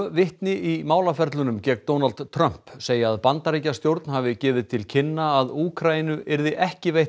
vitni í málaferlunum gegn Donald Trump segja að Bandaríkjastjórn hafi gefið til kynna að Úkraínu yrði ekki veitt